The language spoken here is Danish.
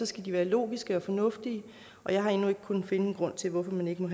skal de være logiske og fornuftige og jeg har endnu ikke kunnet finde en grund til hvorfor man ikke må